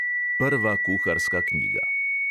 Prva kuharska knjiga.